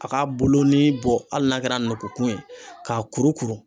A k'a boloni bɔ hali n'a kɛra nɔnnɔkun ye, k'a kuru kuru